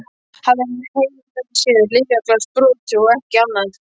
Hafði hann heim með sér lyfjaglas brotið og ekki annað.